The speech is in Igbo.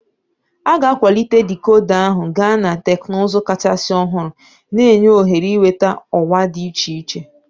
A ga-akwalite dikoda ahụ gaa na teknụzụ kachasị ọhụrụ, na-enye ohere ịnweta ọwa dị iche iche.